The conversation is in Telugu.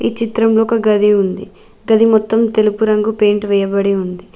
ఈ చిత్రంలో ఒక గది ఉంది గది మొత్తం తెలుపు రంగు పెయింట్ వేయబడి ఉంది.